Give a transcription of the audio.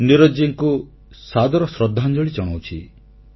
ନୀରଜଜୀଙ୍କୁ ସାଦର ଶ୍ରଦ୍ଧାଞ୍ଜଳି ଜଣାଉଛି